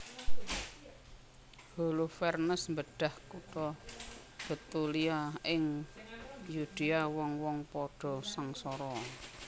Holofernes mbedhah kutha Betulia ing Yudea wong wong padha sangsara